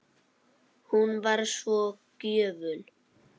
Hún var svo gjöful.